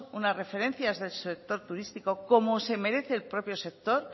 una referencia del sector turístico como se merece el propio sector